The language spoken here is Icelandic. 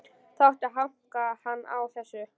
Það átti að hanka hann á þessu.